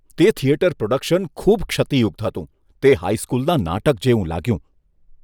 તે theatre production ખૂબ ક્ષતિયુક્ત હતું. તે હાઈ સ્કૂલના નાટક જેવું લાગ્યું.